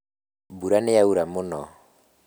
Mbura nĩyaura mũno